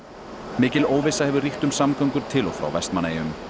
mikil óvissa hefur ríkt um samgöngur til og frá Vestmannaeyjum